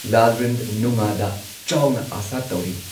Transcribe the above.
ꯂꯥꯜꯔꯤꯝꯅꯨꯉꯥꯗ ꯆꯥꯎꯅ ꯑꯁꯥ ꯇꯧꯔꯤ꯫